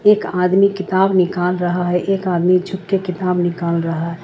एक आदमी किताब निकल रहा है एक आदमी झुक के किताब निकल रहा है।